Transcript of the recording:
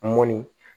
Mɔnni